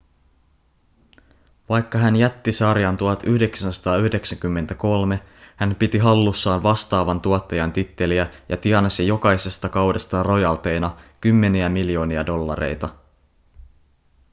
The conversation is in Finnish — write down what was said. vaikka hän jätti sarjan 1993 hän piti hallussaan vastaavan tuottajan titteliä ja tienasi jokaisesta kaudesta rojalteina kymmeniä miljoonia dollareita